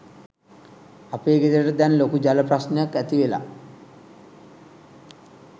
අපේ ගෙදරට දැන් ලොකු ජල ප්‍රශ්නයක්‌ ඇතිවෙලා